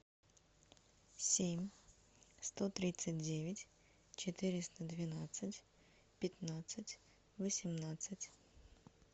семь сто тридцать девять четыреста двенадцать пятнадцать восемнадцать